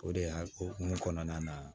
O de y'a hukumu kɔnɔna na